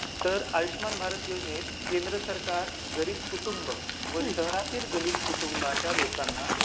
तर आयुष्यमान भारत योजनेत केंद्र सरकार गरीब कुटुंब व शहरातील गरीब कुटुंबातील लोकांना